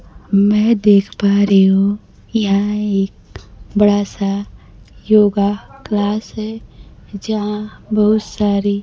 मैं देख पा रही हूं यहां एक बड़ा सा योगा क्लास है। जहां बहुत सारी--